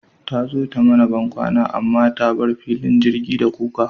Tazo ta mana bankwana amma ta bar filin jirgi da kuka